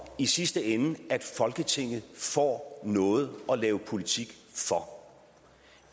i sidste ende at folketinget får noget at lave politik for